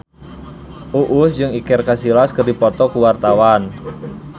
Uus jeung Iker Casillas keur dipoto ku wartawan